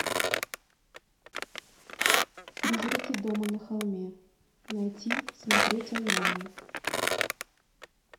призраки дома на холме найти смотреть онлайн